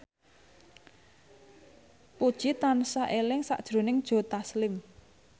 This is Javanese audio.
Puji tansah eling sakjroning Joe Taslim